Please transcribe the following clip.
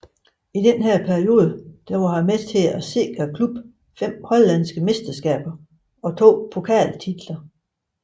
I denne periode var han med til at sikre klubben fem hollandske mesterskaber og to pokaltitler